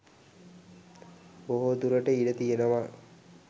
බොහෝදුරට ඉඩ තියෙනවා